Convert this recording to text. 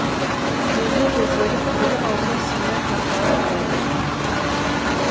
ерні кезеріп тілі аузына симай қаталап барады